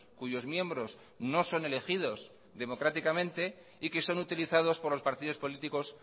cuyos miembros no son elegidos democráticamente y que son utilizados por los partidos políticos